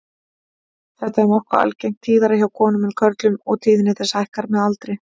Þetta er nokkuð algengt, tíðara hjá konum en körlum og tíðni þess hækkar með aldri.